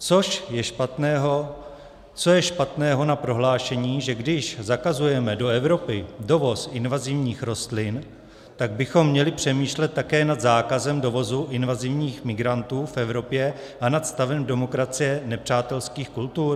Co je špatného na prohlášení, že když zakazujeme do Evropy dovoz invazivních rostlin, tak bychom měli přemýšlet také nad zákazem dovozu invazivních migrantů v Evropě a nad stavem demokracie nepřátelských kultur?